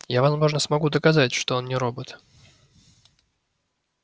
я возможно смогу доказать что он не робот